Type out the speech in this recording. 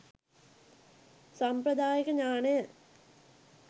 සම්ප්‍රදායික ඥානය